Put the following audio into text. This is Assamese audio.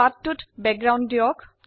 পৃষ্ঠায় একটি পটভূমি দিন